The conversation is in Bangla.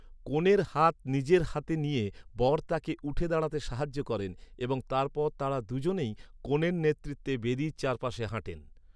কনের হাত নিজের হাতে নিয়ে বর তাঁকে উঠে দাঁড়াতে সাহায্য করেন এবং তারপর তাঁরা দুজনেই, কনের নেতৃত্বে, বেদির চারপাশে হাঁটেন।